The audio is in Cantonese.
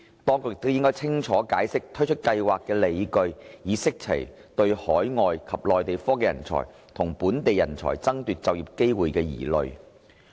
當局亦應清楚解釋推出計劃的理據，以釋除對海外及內地科技人才與本地人才爭奪就業機會的疑慮。